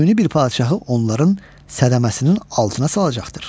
Göynü bir padşahı onların sədəməsinin altına salacaqdır.